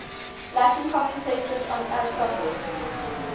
latin commentators on aristotle